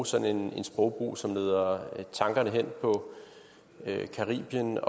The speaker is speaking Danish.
sådan en sprogbrug som leder tankerne hen på caribien